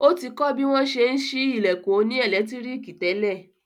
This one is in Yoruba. Ó ti kọ̀ bí wọ́n n ṣe ṣí ilẹ̀kùn òní ẹ̀lẹ́tíríkì tẹ́lẹ̀